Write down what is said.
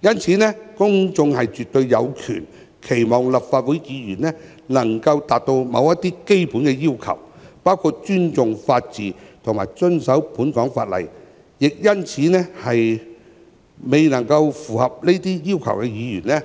因此，公眾絕對有權期望立法會議員能達到某些基本的要求，包括尊重法治及遵守香港法例。因此，未能符合這些要求的議員，